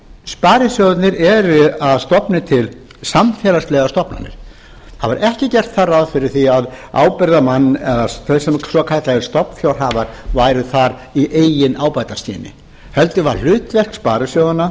sparisjóðirnir eru að stofni til samfélagslegar stofnanir það var ekki gert þar ráð fyrir því að ábyrgðarmenn eða svokallaðir stofnfjárhafar væru þar í eigin ábataskyni heldur var hlutverk sparisjóðanna